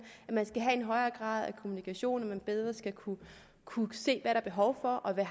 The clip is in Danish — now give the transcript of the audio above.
at man skal have en højere grad af kommunikation og at man bedre skal kunne kunne se hvad der er behov for og hvad